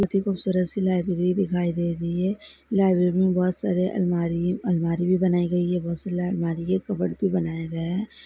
बहुत ही खूबसूरत सी लाइब्रेरी दिखाई दे रही है लाइब्रेरी में बहोत सारे अलमारी अलमारी भी बनाए गई हैं बहुत सारी अलमारी है कवर्ड भी बनाए गए हैं।